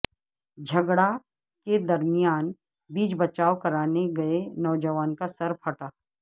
جھگڑا کے درمیان بیچ بچائو کرانے گئے نوجوان کاسر پھٹا